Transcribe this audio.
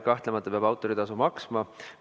Kahtlemata peab autoritasu maksma.